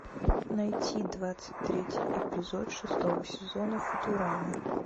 найти двадцать третий эпизод шестого сезона футурама